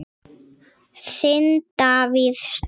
Þinn, Davíð Snær.